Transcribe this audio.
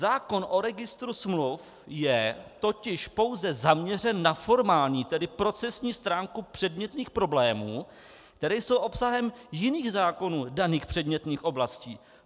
Zákon o registru smluv je totiž pouze zaměřen na formální, tedy procesní stránku předmětných problémů, které jsou obsahem jiných zákonů daných předmětných oblastí.